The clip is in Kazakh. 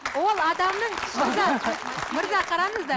ол адамның ішкі зат мырза қараңыздар